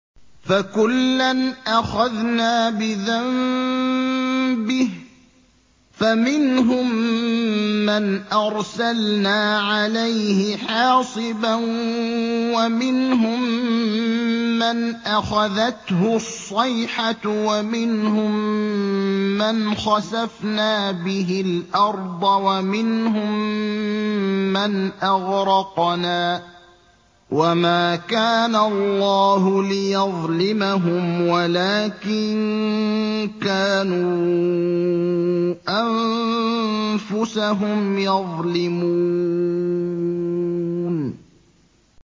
فَكُلًّا أَخَذْنَا بِذَنبِهِ ۖ فَمِنْهُم مَّنْ أَرْسَلْنَا عَلَيْهِ حَاصِبًا وَمِنْهُم مَّنْ أَخَذَتْهُ الصَّيْحَةُ وَمِنْهُم مَّنْ خَسَفْنَا بِهِ الْأَرْضَ وَمِنْهُم مَّنْ أَغْرَقْنَا ۚ وَمَا كَانَ اللَّهُ لِيَظْلِمَهُمْ وَلَٰكِن كَانُوا أَنفُسَهُمْ يَظْلِمُونَ